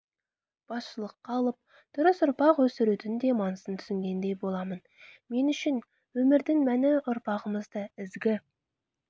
басшылыққа алып дұрыс ұрпақ өсірудің де маңызын түсінгендей боламын мен үшін өмірдің мәні ұрпағымызды ізгі